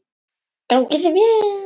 Gangi þér vel.